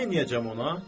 Neyləyəcəm ona?